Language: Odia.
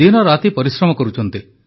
ଦିନରାତି ପରିଶ୍ରମ କରୁଛନ୍ତି